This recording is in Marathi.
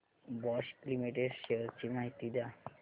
बॉश लिमिटेड शेअर्स ची माहिती द्या